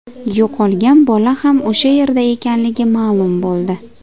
Yo‘qolgan bola ham o‘sha yerda ekanligi ma’lum bo‘ldi.